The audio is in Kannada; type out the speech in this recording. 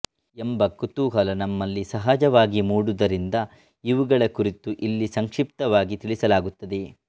ಎಂಬ ಕುತೂಹಲ ನಮ್ಮಲ್ಲಿ ಸಹಜವಾಗಿ ಮೂಡುವುದರಿಂದ ಇವುಗಳ ಕುರಿತು ಇಲ್ಲಿ ಸಂಕ್ಷಿಪ್ತವಾಗಿ ತಿಳಿಸಲಾಗುತ್ತದೆ